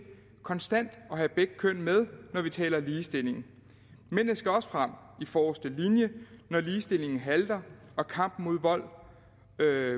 konstant at have begge køn med når vi taler ligestilling mændene skal også frem i forreste linje når ligestillingen halter og kampen